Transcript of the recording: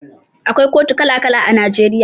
Akwai kotu kala kala a Najeriya.